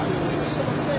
İşdə bax say.